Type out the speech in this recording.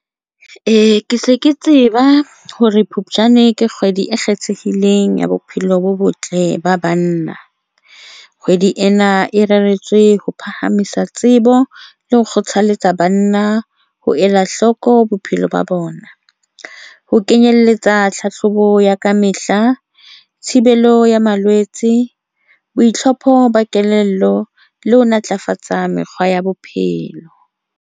Ke se ke tseba hore Phupjane ke kgwedi e kgethehileng ya bophelo bo botle ba banna, kgwedi ena e reretswe ho phahamisa tsebo le ho kgothaletsa banna ho ela hloko bophelo ba bona, ho kenyelletsa tlhahlobo ya kamehla, thibelo ya malwetse, boitlhompho ba kelello le ho ntlafatsa mekgwa ya bophelo.